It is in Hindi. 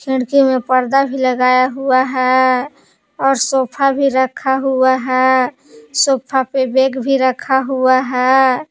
खिड़की में पर्दा भी लगाया हुआ है और सोफा भी रखा हुआ है सोफा पे बैग भी रखा हुआ है।